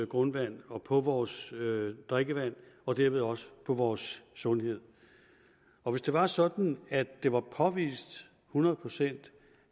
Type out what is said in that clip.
grundvand og på vores drikkevand og derved også på vores sundhed og hvis det var sådan at det var påvist hundrede procent